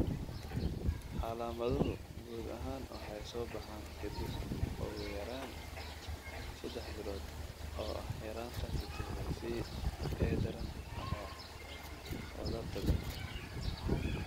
Calaamaduhu guud ahaan waxay soo baxaan ka dib ugu yaraan 3 bilood oo ah yaraanta fitamiin C ee daran ama wadarta guud.